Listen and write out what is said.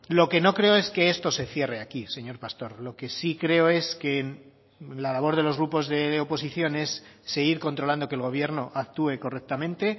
lo que no creo es que esto se cierre aquí señor pastor lo que sí creo es que la labor de los grupos de oposición es seguir controlando que el gobierno actúe correctamente